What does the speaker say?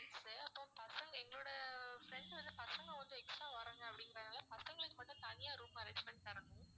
அப்பறம் பசங்க எங்களோட அஹ் friends வந்து பசங்க வந்து extra வர்றாங்க அப்படிங்கிறதுனால பசங்களுக்கு மட்டும் தனியா room arrange பண்ணி தரணும்